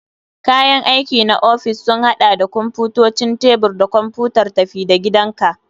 Kayan aiki na ofis sun haɗa da kwamfutocin tebur da kwamfutar tafi-da-gidanka.